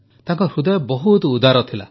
ତାଙ୍କ ହୃଦୟ ବହୁତ ଉଦାର ଥିଲା